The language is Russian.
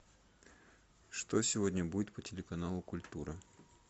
что сегодня будет по телеканалу культура